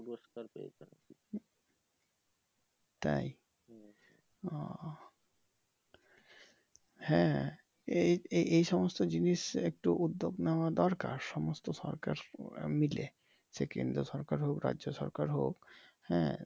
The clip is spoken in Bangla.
তাই ওহ হ্যাঁ এই এই এই সমস্ত জিনিস একটু উদ্দ্যেগ নেওয়া দরকার সমস্ত সরকার মিলে সে কেন্দ্র সরকার হোক রাজ্য সরকার হোক হ্যাঁ